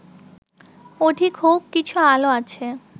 অধিক হউক, কিছু আলো আছে